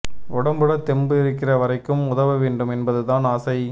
உடம்புல தெம்பு இருக்கிற வரைக்கும் உதவ வேண்டும் என்பது தான் ஆசை